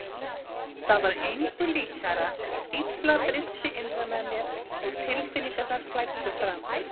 Það var engu líkara en stífla brysti innra með mér og tilfinningarnar flæddu fram.